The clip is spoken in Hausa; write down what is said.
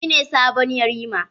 Shi ne sabon yarima?